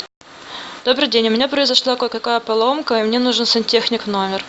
добрый день у меня произошла кое какая поломка и мне нужен сантехник в номер